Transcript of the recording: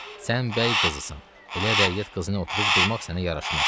Sən bəy qızısan, elə rəiyyət qızına oturub durmaq sənə yaraşmaz.